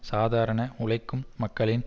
சாதாரண உழைக்கும் மக்களின்